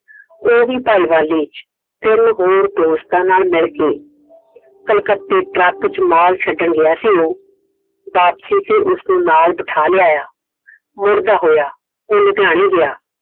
ਉਹਂਦੀ ਭਾਈਵਾਲੀ ਵਿੱਚ ਤਿੰਨ ਹੋਰ ਦੋਸਤਾਂ ਨਾਲ ਮਿਲ ਕੇ ਕੱਲਕੱਤੇ ਟਰੱਕ ਚ ਮਾਲ ਛੱਡਣ ਗਿਆ ਸੀ। ਵਾਪਸੀ ਤੇ ਉਸਨੂੰ ਨਾਲ ਬਿਠਾ ਲਿਆਇਆ। ਮੁੜਦਾ ਹੋਇਆ ਉਹ ਲੁਧਿਆਣੇ ਗਿਆ।